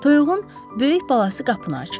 Toyuğun böyük balası qapını açır.